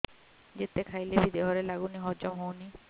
ଯେତେ ଖାଇଲେ ବି ଦେହରେ ଲାଗୁନି ହଜମ ହଉନି